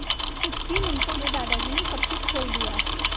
कुछ ही मिनटों में दादाजी ने सब कुछ खोल दिया